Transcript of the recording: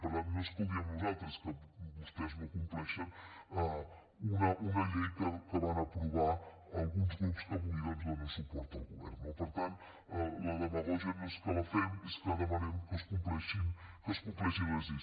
per tant no és que ho diguem nosaltres és que vostès no compleixen una llei que van aprovar alguns grups que avui doncs donen suport al govern no per tant la demagògia no és que la fem és que demanem que es compleixin les lleis